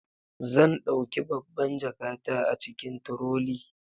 Zan dauki babban jakata a cikin trolley.